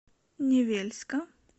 невельска